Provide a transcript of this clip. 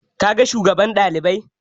Ka ga shugaban ɗalibai?